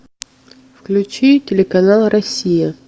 включи телеканал россия